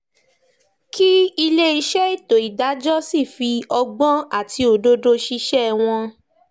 kí iléeṣẹ́ ètò ìdájọ́ sì fi ọgbọ́n àti òdodo ṣiṣẹ́ wọn